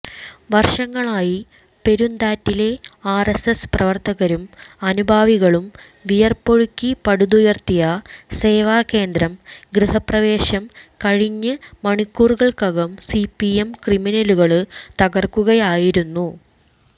വര്ഷങ്ങളായി പെരുന്താറ്റിലെ ആര്എസ്എസ് പ്രവര്ത്തകരും അനുഭാവികളും വിയര്പ്പൊഴുക്കി പടുത്തുയര്ത്തിയ സേവാകേന്ദ്രം ഗൃഹപ്രവേശം കഴിഞ്ഞ് മണിക്കൂറുകള്ക്കകം സിപിഎം ക്രിമിനലുകള് തകര്ക്കുകയായിരുന്നു